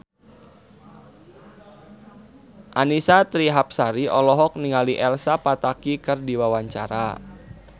Annisa Trihapsari olohok ningali Elsa Pataky keur diwawancara